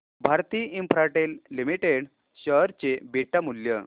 Bharti Infratel limited share चे beta मूल्य